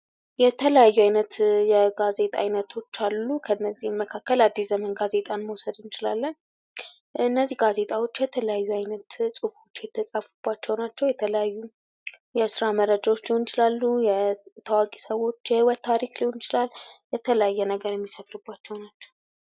የተለያዩ አይነት የጋዜጣ አይነቶች አሉ ከነዚህም መካከል አዲስ ዘመን ጋዜጣ መውሰድ እንችላለን እነዚህ ጋዜጣ ውጪ የተለያዩ አይነት ጵሁፎች የተጻፉባቸው ናቸው የተለያዩ የስራ መረጃዎች ሊሆን ይችላሉ የታዋቂ ሰዎች የህይወት ታሪክ ሊሆን ይችላል የተለያየ ነገር የሚሰፍርባቸው ናቸው።